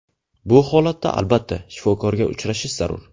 Bu holatda albatta, shifokorga uchrashish zarur.